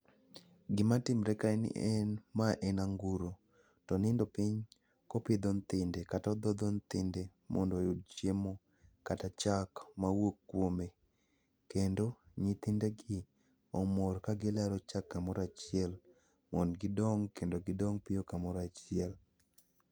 Gima timre ka en ni en ma en anguro. To onindo piny kopidho nythinde kata odhodho nythinde mondo oyud chiemo kata chak mawuok kuome. Kendo nyithindegi omor kagilaro chak kamorachiel, mond gidong kendo gidong piyo kamorachiel.